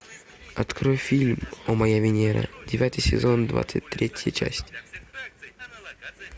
открой фильм о моя венера девятый сезон двадцать третья часть